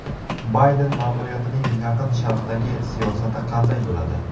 Bayden ma’muriyatining Yaqin Sharqdagi siyosati qanday bo‘ladi?